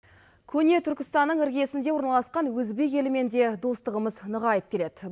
көне түркістаннің іргесінде орналасқан өзбек елімен де достығымыз нығайып келеді